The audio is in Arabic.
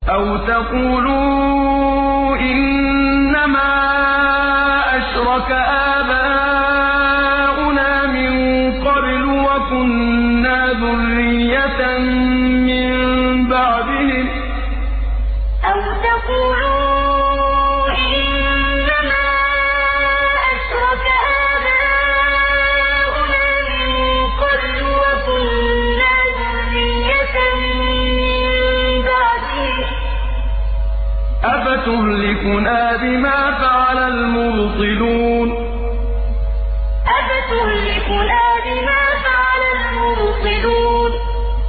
أَوْ تَقُولُوا إِنَّمَا أَشْرَكَ آبَاؤُنَا مِن قَبْلُ وَكُنَّا ذُرِّيَّةً مِّن بَعْدِهِمْ ۖ أَفَتُهْلِكُنَا بِمَا فَعَلَ الْمُبْطِلُونَ أَوْ تَقُولُوا إِنَّمَا أَشْرَكَ آبَاؤُنَا مِن قَبْلُ وَكُنَّا ذُرِّيَّةً مِّن بَعْدِهِمْ ۖ أَفَتُهْلِكُنَا بِمَا فَعَلَ الْمُبْطِلُونَ